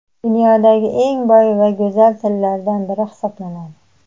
dunyodagi eng boy va go‘zal tillardan biri hisoblanadi.